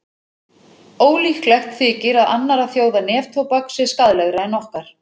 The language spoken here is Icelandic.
Ólíklegt þykir að annarra þjóða neftóbak sé skaðlegra en okkar.